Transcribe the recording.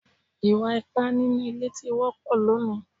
Ìwà ipá nínú ilé ti wọ́pọ̀ lónìí